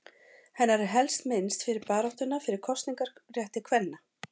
Hennar er helst minnst fyrir baráttuna fyrir kosningarétti kvenna.